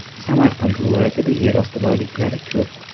Samarqand viloyatida yer osti boyliklari ko‘p.